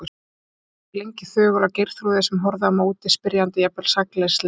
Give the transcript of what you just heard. Guðrún horfði lengi þögul á Geirþrúði sem horfði á móti, spyrjandi, jafnvel sakleysislega.